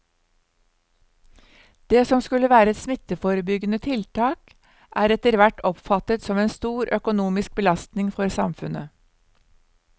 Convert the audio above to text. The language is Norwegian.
Det som skulle være et smitteforebyggende tiltak er etterhvert oppfattet som en stor økonomisk belastning for samfunnet.